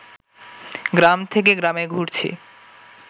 গ্রাম থেকে গ্রামে ঘুরছি